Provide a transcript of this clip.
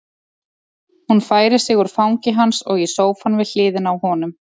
Hún færir sig úr fangi hans og í sófann við hliðina á honum.